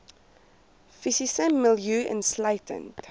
fisiese milieu insluitend